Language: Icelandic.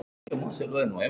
Nei, enginn